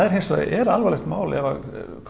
hins vegar er alvarlegt mál ef að